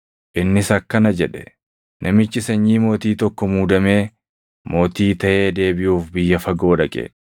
Innis akkana jedhe; “Namichi sanyii mootii tokko muudamee mootii taʼee deebiʼuuf biyya fagoo dhaqe.